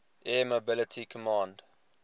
air mobility command